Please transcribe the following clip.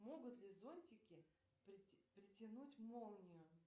могут ли зонтики притянуть молнию